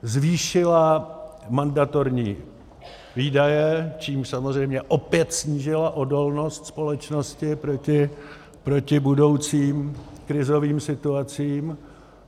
Zvýšila mandatorní výdaje, čímž samozřejmě opět snížila odolnost společnosti proti budoucím krizovým situacím.